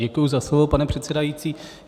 Děkuji za slovo, pane předsedající.